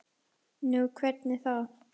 Nú, hvernig þá?